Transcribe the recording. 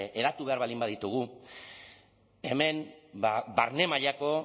eratu behar baldin baditugu hemen barne mailako